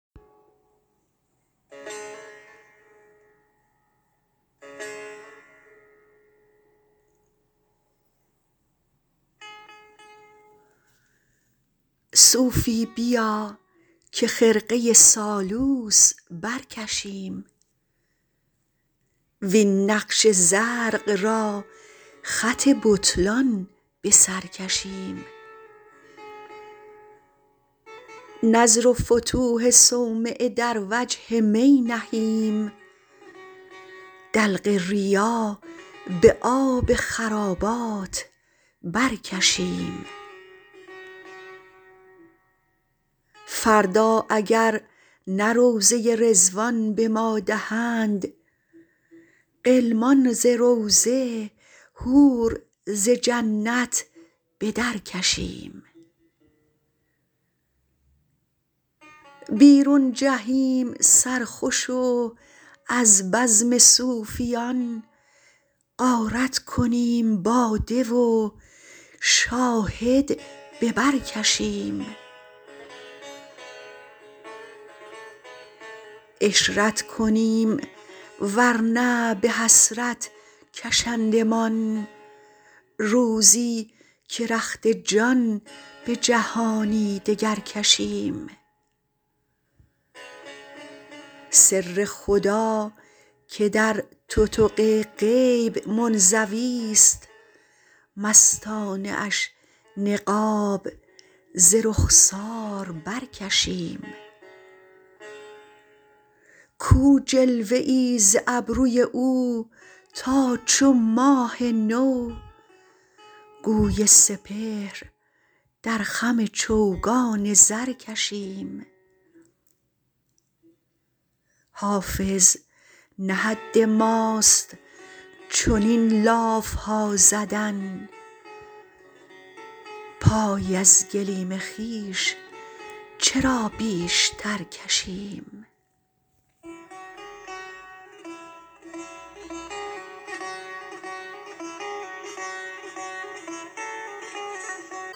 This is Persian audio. صوفی بیا که خرقه سالوس برکشیم وین نقش زرق را خط بطلان به سر کشیم نذر و فتوح صومعه در وجه می نهیم دلق ریا به آب خرابات برکشیم فردا اگر نه روضه رضوان به ما دهند غلمان ز روضه حور ز جنت به درکشیم بیرون جهیم سرخوش و از بزم صوفیان غارت کنیم باده و شاهد به بر کشیم عشرت کنیم ور نه به حسرت کشندمان روزی که رخت جان به جهانی دگر کشیم سر خدا که در تتق غیب منزویست مستانه اش نقاب ز رخسار برکشیم کو جلوه ای ز ابروی او تا چو ماه نو گوی سپهر در خم چوگان زر کشیم حافظ نه حد ماست چنین لاف ها زدن پای از گلیم خویش چرا بیشتر کشیم